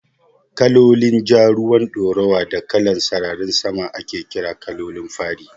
Kalolin Ja, ruwan ɗoruwa da kalan sararin sama ake ƙira Kalolin fari